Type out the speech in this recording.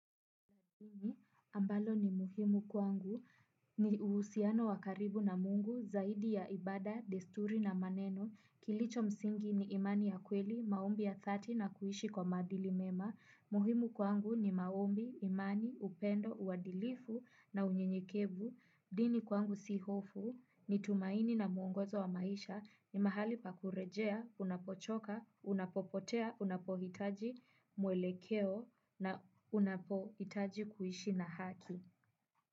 Ambalo ni muhimu kwangu ni uhusiano wakaribu na mungu zaidi ya ibada, desturi na maneno. Kilicho msingi ni imani ya kweli, maombi ya thati na kuishi kwa maadili mema. Muhimu kwangu ni maombi, imani, upendo, uadilifu na unyenyekevu. Dini kwangu sihofu ni tumaini na muongozo wa maisha ni mahali pakurejea, unapochoka, unapopotea, unapohitaji, mwelekeo na unapohitaji kuishi na haki.